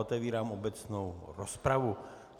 Otevírám obecnou rozpravu.